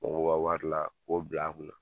K'o bɔ o ka wari la k'o bil'a kunna.